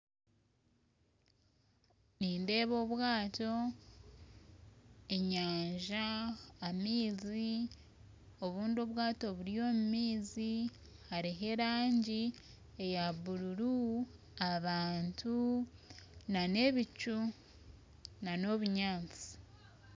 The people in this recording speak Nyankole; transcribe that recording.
Nindeeba obwato enyanja amaizi, obundi obwato buri omu maizi hariho erangi yabururu abantu n'ebicu, n'obunyantsi